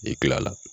E kila la